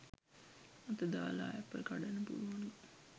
අත දාල ඇපල් කඩන්න පුලුවන්ලු